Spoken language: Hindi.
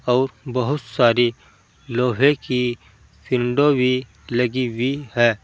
और बहुत सारी लोहे की विंडो भी लगी हुई है।